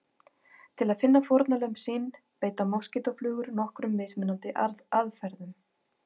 Til að finna fórnarlömb sín beita moskítóflugur nokkrum mismunandi aðferðum.